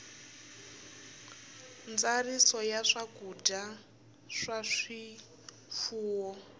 ntsariso ya swakudya swa swifuwo